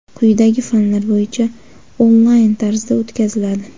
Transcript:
quyidagi fanlar bo‘yicha onlayn tarzda o‘tkaziladi:.